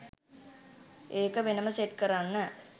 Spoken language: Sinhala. ඒක වෙනම සෙට් කරන්න.